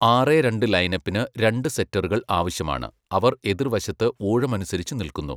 ആറെ രണ്ട് ലൈനപ്പിന് രണ്ട് സെറ്ററുകൾ ആവശ്യമാണ്, അവർ എതിർവശത്ത് ഊഴമനുസരിച്ചു നില്കുന്നു.